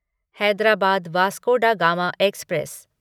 Hyderabad Vasco da Gama express